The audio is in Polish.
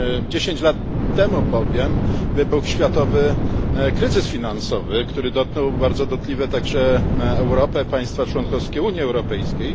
Dziesięć lat temu bowiem wybuchł światowy kryzys finansowy, który dotknął bardzo dotkliwie także Europę i państwa członkowskie Unii Europejskiej.